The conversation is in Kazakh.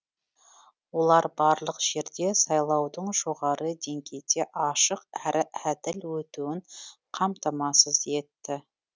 олар барлық жерде сайлаудың жоғары деңгейде ашық әрі әділ өтуін қамтамасыз етті